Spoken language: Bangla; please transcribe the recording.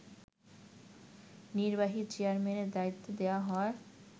নির্বাহী চেয়ারম্যানের দায়িত্ব দেয়া হয়